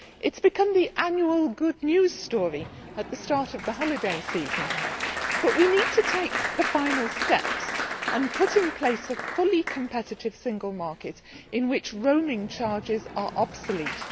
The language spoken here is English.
It has become the annual good news story at the start of the holiday season but we need to take the final steps and put in place a fully competitive single market in which roaming charges are obsolete.